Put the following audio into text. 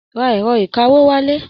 Ra èrọ ìkawó wálé.